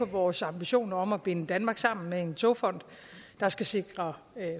vores ambitioner om at binde danmark sammen af en togfond der skal sikre